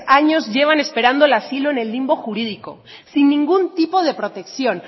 años llevan esperando el asilo en el limbo jurídico sin ningún tipo de protección